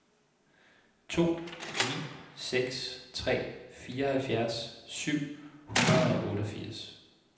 to ni seks tre fireoghalvfjerds syv hundrede og otteogfirs